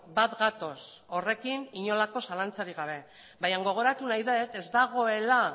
bat gatoz horrekin inolako zalantzarik gabe bainan gogoratu nahi dut ez dagoela